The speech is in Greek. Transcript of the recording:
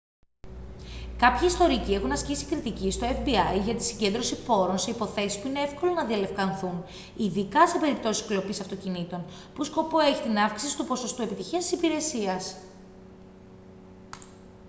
κάποιοι ιστορικοί έχουν ασκήσει κριτική στο fbi για την συγκέντρωση πόρων σε υποθέσεις που είναι εύκολο να διαλευκανθούν ειδικά σε περιπτώσεις κλοπής αυτοκινήτων που σκοπό έχει την αύξηση του ποσοστού επιτυχίας της υπηρεσίας